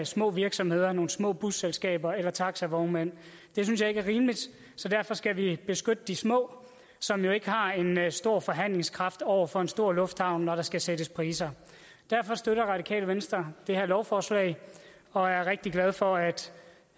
små virksomheder nogle små busselskaber eller taxavognmænd det synes jeg ikke er rimeligt så derfor skal vi beskytte de små som jo ikke har en stor forhandlingskraft over for en stor lufthavn når der skal sættes priser derfor støtter radikale venstre det her lovforslag og er rigtig glade for at